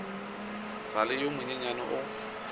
sa le yo monyenyane o